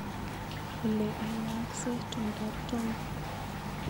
Ole ayaksee tumndop Tom.